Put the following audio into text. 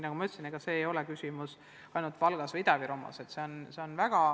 Nagu ma ütlesin, ega see probleem ei ole ainult Valgas ja Ida-Virumaal, see on laiem.